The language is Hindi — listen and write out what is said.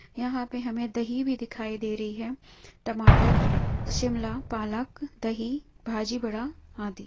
यहाँ पे हमें दही भी दिखाई दे रही है। टमाटर शिमला पालक दही भाजी बड़ा आदि।